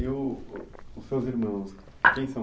E o o, os seus irmãos, quem são?